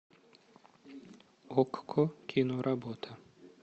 окко кино работа